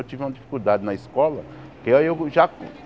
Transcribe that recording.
Eu tive uma dificuldade na escola. Que aí eu já